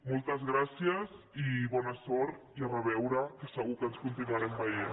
moltes gràcies i bona sort i a reveure que segur que ens continuarem veient